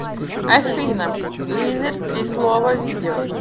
афина лизер три слова видео